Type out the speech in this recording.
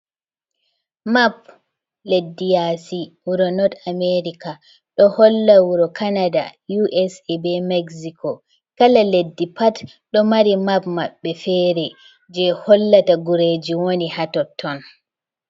Map leddi yasi wuro north america ɗo holla wuro canada usa be Mexico, kala leddi pat do mari map maɓbe fere je hollata gureji wani hatotton.